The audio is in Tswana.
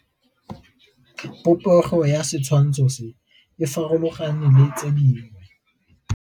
Popêgo ya setshwantshô se, e farologane le tse dingwe.